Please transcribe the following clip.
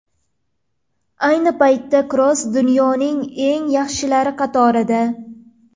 Ayni paytda Kroos dunyoning eng yaxshilari qatorida.